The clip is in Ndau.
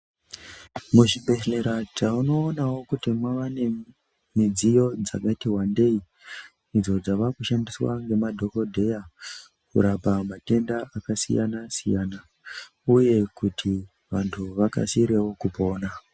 Muzvibhehlera tinoonawo kuti mwavanemidziyo dzakati wandei idzo dzaakushandiswa ngemadhokodheya kurapa matenda akasiyanasiyana uye kuti vantu vakasirewo kupora.